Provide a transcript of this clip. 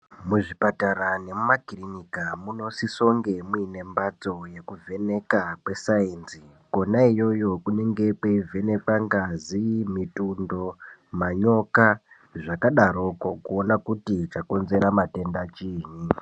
Muzvipatara nemumakirinika munosisa kunge muine mbatso yekuvheneka kwesainzi Kona iyoyo kunenge kweivhenekwa ngazi mitundo manyoka zvakadaroko kuona kuti chakonzera matenda chinyi.